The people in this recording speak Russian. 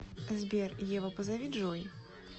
сбер ева позови джой